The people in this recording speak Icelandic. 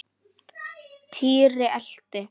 Týri elti.